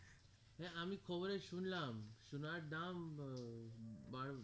হেঁ আমি খবরে শুনলাম সোনার দাম আহ বার